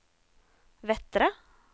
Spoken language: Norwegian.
Vettre